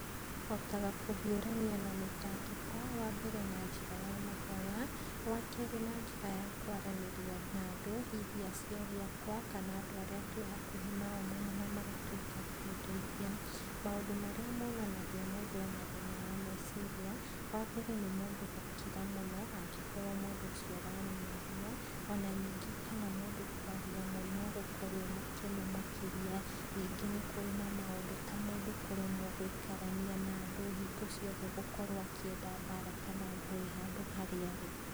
Hotaga kũhiũrania na mĩtangĩko, wambere na njĩra ya mahoya, wakerĩ na njĩra ya kwaranĩria na andũ, hihi aciari akwa, kana andũ arĩa twĩhakuhĩ nao mũno namagatuĩka a kũndeithia. Maũndũ marĩa monanagia mũndũ ena thĩna wameciria, wambere nĩ mũndũ gũkira mũno angĩkorwo mũndũ ũcio ararĩ mwaria, ona ningĩ kana mũndũ kwaria mũno gũkorwo e mũkenu makĩria, ningĩ nĩkũrĩ na maũndũ ta mũndũ kũremwo gũikarania na andũ hingo ciothe gũkorwo akĩenda mbara kana ngũĩ handu harĩa arĩ.